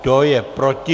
Kdo je proti?